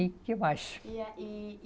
E que mais? E aí